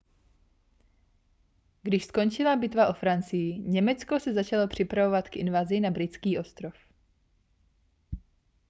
když skončila bitva o francii německo se začalo připravovat k invazi na britský ostrov